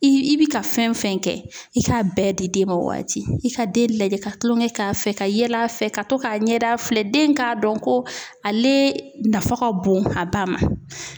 I bi ka fɛn fɛn kɛ i ka bɛɛ di den ma o waati. I ka den lajɛ ka tulon kɛ a fɛ ,ka yɛlɛ a fɛ ka to ka ɲɛda filɛ. Den ka dɔn ko ale nafa ka bon a ba ma.